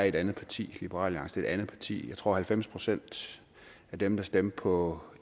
et andet parti liberal alliance er et andet parti jeg tror at halvfems procent af dem der stemte på